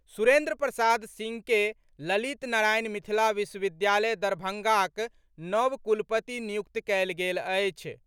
सुरेंद्र प्रसाद सिंह के ललित नारायण मिथिला विश्वविद्यालय दरभंगाक नव कुलपति नियुक्त कएल गेल अछि।